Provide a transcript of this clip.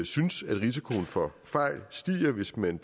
synes risikoen for fejl stiger hvis man